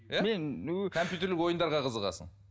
компьютерлік ойындарға қызығасың